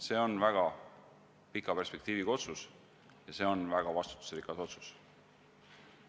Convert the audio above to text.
See on väga pika perspektiiviga otsus ja see on väga vastutusrikas otsus.